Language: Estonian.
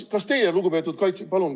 Kas teie, lugupeetud kaitseminister ...